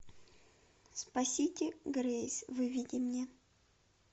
спасите грейс выведи мне